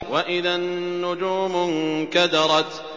وَإِذَا النُّجُومُ انكَدَرَتْ